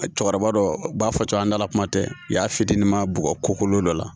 Cɛkɔrɔba dɔ u b'a fɔ cogo an dala kuma tɛ u y'a fitinin ma bugɔ ko kolon dɔ la